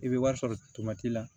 I bɛ wari sɔrɔ la